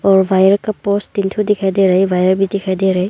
और वायर का पोल तीन ठो दिखाई दे रहा है और वायर भी दिखाई दे रहा है।